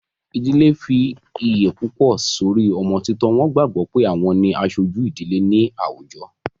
Ìdilé fi iye púpọ̀ sórí ọmọ títọ́, wọ́n gbàgbọ́ pé àwọn ni aṣojú ìdílé náà ní àwùjọ